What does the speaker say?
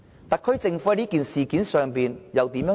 特區政府對事件有何回應？